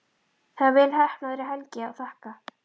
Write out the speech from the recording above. Það er vel heppnaðri helgi að þakka.